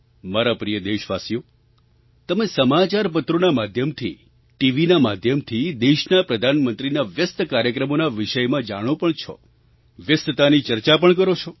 મારા પ્રિય દેશવાસીઓ તમે સમાચારપત્રોના માધ્યમથી ટીવીના માધ્યમથી દેશના પ્રધાનમંત્રીના વ્યસ્ત કાર્યક્રમોના વિષયમાં જાણો પણ છો વ્યસ્તતાની ચર્ચા પણ કરો છો